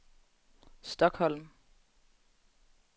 Stockholm